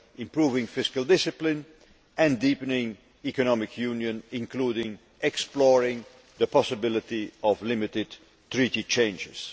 improving fiscal discipline and deepening Economic Union, including exploring the possibility of limited Treaty changes.